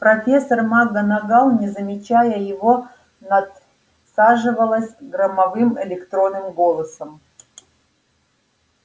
профессор макгонагалл не замечая его надсаживалась громовым электронным голосом